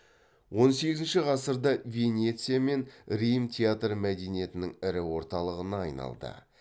он сегізінші ғасырда венеция мен рим театр мәдениетінің ірі орталығына айналды